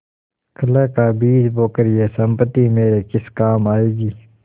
कलह का बीज बोकर यह सम्पत्ति मेरे किस काम आयेगी